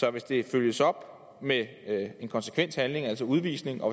er hvis det følges op af en konsekvent handling altså udvisning og